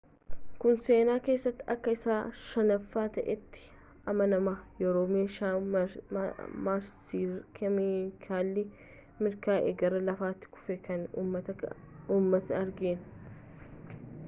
kun seenaa keessatti akka isa shanaffa ta'eetti amanamaa yeroo meeshaan maarsiirraa keemikaalan mirkaana'ee gara lafati kufuu kan ummatnii argaan